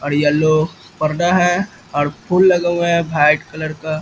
और येलो पर्दा है और फूल लगा हुआ है वाइट कलर का।